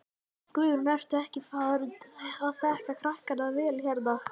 Guðrún: Ertu ekki farin að þekkja krakkana vel hérna?